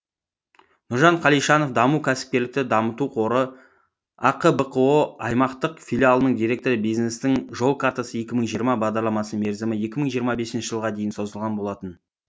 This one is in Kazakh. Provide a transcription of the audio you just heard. нұржан қалишанов даму кәсіпкерлікті дамыту қоры ақ бқо аймақтық филиалының директоры бизнестің жол картасы екі мың жиырма бағдарламасының мерзімі екі мың жиырма бесінші жылға дейін созылған болатын